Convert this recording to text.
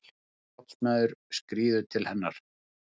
Nýr járnsmiður skríður til hennar.